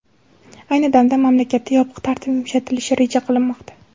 Ayni damda mamlakatda yopiq tartib yumshatilishi reja qilinmoqda.